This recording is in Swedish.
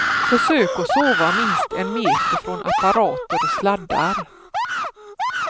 Försök att sova minst en meter från apparater och sladdar.